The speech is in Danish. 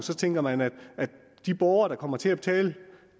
så tænker man at de borgere der kommer til at betale